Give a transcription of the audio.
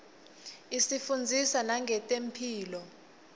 isifundzisa nangetemphilo